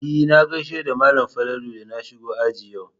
E, na gaishe da malam Falalu da na shigo aji yau.